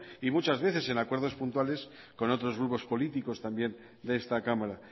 y muchas veces en acuerdos puntuales con otros grupos políticos también de esta cámara